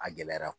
A gɛlɛyara